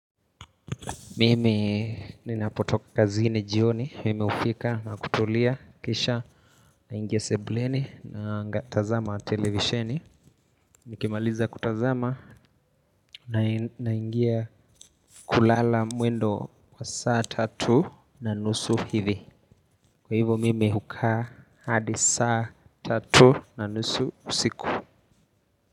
Mimi ninapotoka kazini jioni, mimi ufika na kutulia kisha naingia sebuleni nangatazama televisheni. Nikimaliza kutazama naingia kulala mwendo wa saa tatu na nusu hivi. Kwa hivyo mimi hukaa hadi saa tatu na nusu usiku.